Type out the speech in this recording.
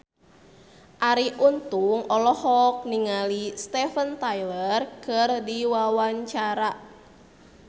Arie Untung olohok ningali Steven Tyler keur diwawancara